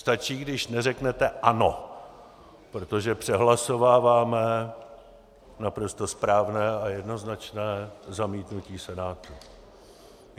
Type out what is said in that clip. Stačí, když neřeknete ano, protože přehlasováváme naprosto správné a jednoznačné zamítnutí Senátu.